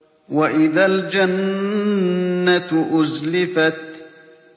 وَإِذَا الْجَنَّةُ أُزْلِفَتْ